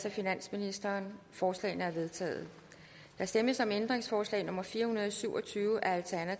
af finansministeren forslagene er vedtaget der stemmes om ændringsforslag nummer fire hundrede og syv og tyve af alt